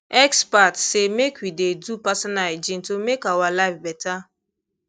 experts say make we dey do personal hygiene to make our life better